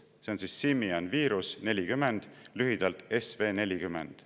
See on simian virus 40, lühidalt SV40.